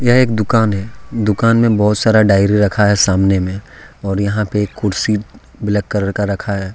यह एक दुकान है दुकान में बहोत सारा डायरी रखा हैसामने में और यहां पे एक कुर्सी ब्लैक कलर का रखा है।